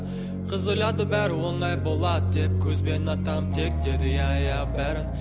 қыз ойлады бәрі оңай болады деп көзбен атамын тек деді иә иә бәрі